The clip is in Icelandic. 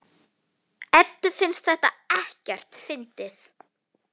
Eddu finnst þetta ekkert fyndið.